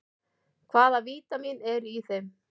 Hvaða vítamín eru í þeim?